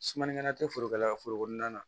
Sumani kɛla tɛ forokɛla ka foro kɔnɔna na